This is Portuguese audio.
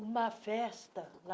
Uma festa lá.